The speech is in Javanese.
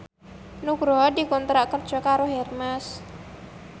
Nugroho dikontrak kerja karo Hermes